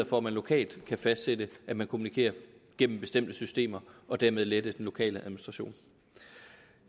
for at man lokalt kan fastsætte at man kommunikerer igennem bestemte systemer og dermed lette den lokale administration